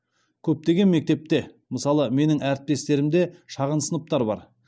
көптеген мектепте мысалы менің әріптестерімде шағын сыныптар бар